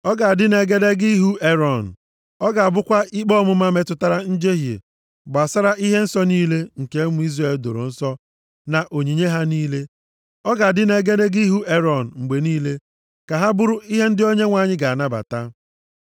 Ọ ga-adị nʼegedege ihu Erọn. Ọ ga-ebukwa ikpe ọmụma metụtara njehie gbasara ihe nsọ niile nke ụmụ Izrel doro nsọ, na onyinye ha niile. Ọ ga-adị nʼegedege ihu Erọn mgbe niile, ka ha bụrụ ndị Onyenwe anyị ga-anabata.